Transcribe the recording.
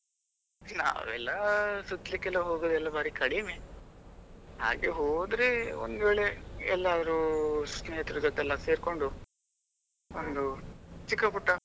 ನಾವೆಲ್ಲ ಸುತ್ಲಿಕ್ಕೆಲ್ಲ ಹೋಗೋದು ಎಲ್ಲಾ ಬಾರಿ ಕಡಿಮೆ ಹಾಗೆ ಹೋದ್ರೆ ಒಂದು ವೇಳೆ ಎಲ್ಲಾದ್ರೂ ಸ್ನೇಹಿತರ ಜೊತೆ ಎಲ್ಲ ಸೇರ್ಕೊಂಡು ಒಂದು ಚಿಕ್ಕಪುಟ್ಟ.